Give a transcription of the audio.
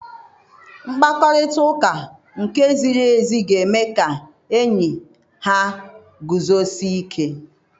Mkparịta ụka nke ziri ezi ga-eme ka enyi ha guzosie ike.